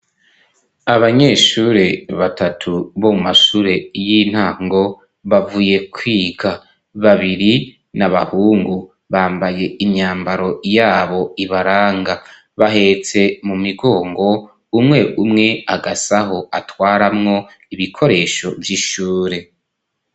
abanyeshure batatu bo mu mashure y'intango bavuye kwiga .Babiri n'abahungu bambaye imyambaro yabo ibaranga bahetse mu migongo umwe umwe agasaho atwaramwo ibikoresho vy'ishure.